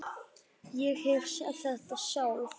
Ég hef séð þetta sjálf.